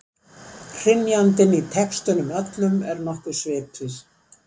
Hrynjandin í textunum öllum er nokkuð svipuð.